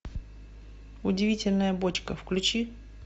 удивительная бочка включи